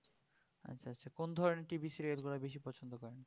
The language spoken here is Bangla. আচ্ছা আচ্ছা কোন ধরনের TV serial গুলি বেশি পছন্দ করেন?